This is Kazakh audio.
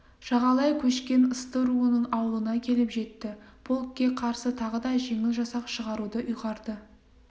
жағалай көшкен ысты руының аулына келіп жетті полкке қарсы тағы да жеңіл жасақ шығаруды ұйғарды